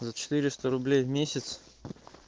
за четыреста рублей в месяц